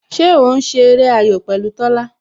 Ṣé o ń ṣe eré ayò pẹ̀lú Tola?